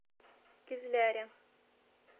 кизляре